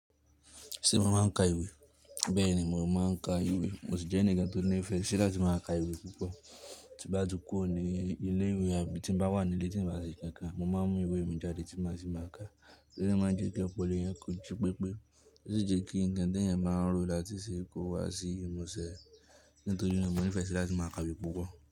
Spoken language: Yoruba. Ṣé mo máa ń ka ìwé? Bẹ́ẹ̀ni, mo máa ń ka ìwé. Mo sì jẹ́ ẹnìkan tó nífẹ̀ẹ́ sí láti máa ka ìwé púpọ̀. Tí bá tú kuro ní ilé ìwé àbí tí mo bá wà nílé tí n bá ṣe nkankan, mo máa ń mú ìwé mi jáde tí màá ṣì máa ka. Iwe de máa ń jẹ kí ọ̀pọ̀lọpọ̀ èèyàn ko jí pe pé, ó sì jẹ́ kí ǹkan ti eeyan báa n ro láti ṣe é kó wá sí ìmúṣẹ. Nítorí naa nífẹ̀ẹ́ sí láti máa ka ìwé púpọ̀